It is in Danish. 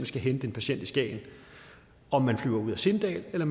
skal hente en patient i skagen om man flyver ud af sindal eller